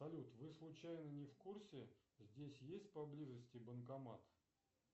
салют вы случайно не в курсе здесь есть поблизости банкомат